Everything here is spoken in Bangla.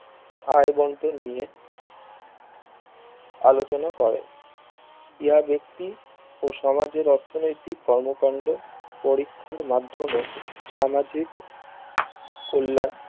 আয় বন্টন নিয়ে আলোচনা করে ইহা ব্যক্তি ও সমাজের অর্থনৈতিক কর্ম কান্ড পরীক্ষার মাধ্যমে সামাজিক কল্যান